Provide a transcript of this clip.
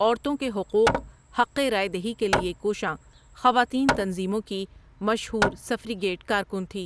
عورتوں کے حقوق حق رائے دہی کے لیے کوشاں خواتین تنظیموں کی مشہور سفریگیٹ کارکن تھی ۔